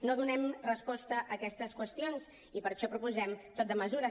no donem resposta a aquestes qüestions i per això proposem tot de mesures